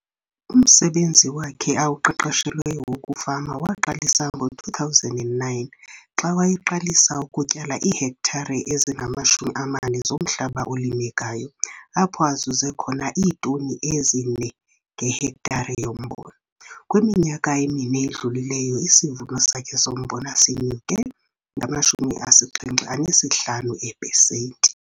Umsebenzi wakhe awuqeqeshelweyo wokufama waqalisa ngo-2009 xa wayeqalisa ukutyala iihektare ezingama-40 zomhlaba olimekayo apho azuze khona iitoni ezi-4 ngehektare yombona. Kwiminyaka emine edlulileyo isivuno sakhe sombona sinyuke nge-75 eepesenti.